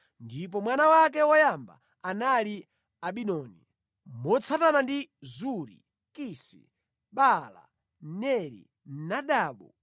ndipo mwana wake woyamba anali Abidoni, motsatana ndi Zuri, Kisi, Baala, Neri, Nadabu,